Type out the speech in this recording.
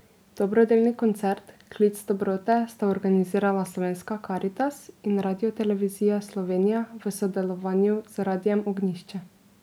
Dobrodelni koncert Klic dobrote sta organizirala Slovenska karitas in Radiotelevizija Slovenija v sodelovanju z Radiem Ognjišče.